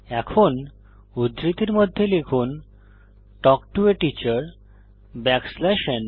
এখন উদ্ধৃতির মধ্যে লিখুন তাল্ক টো a টিচার ন